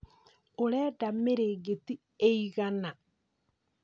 Ũrenda mĩrĩngĩti ĩigana?